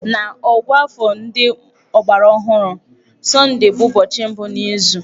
N'ọ̀gụ́àfọ̀ ndị ọgbaraọhụrụ, Sọndee bụ ụbọchị mbụ n'izu.